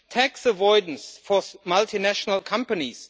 tax avoidance for multinational companies